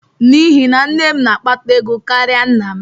N'ihi na nne m na-akpata ego karịa nna m.